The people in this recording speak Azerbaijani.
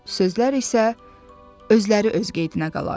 Sözlər isə özləri öz qeydinə qalar.